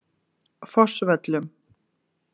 Fossvöllum